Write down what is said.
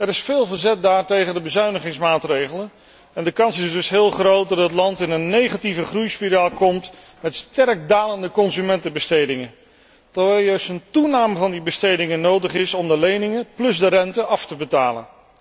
Er is veel verzet daar tegen de bezuinigingsmaatregelen en de kans is dus heel groot dat het land in een negatieve groeispiraal komt met sterk dalende consumentenbestedingen, terwijl juist een toename van die bestedingen nodig is om de leningen plus de rente af te betalen.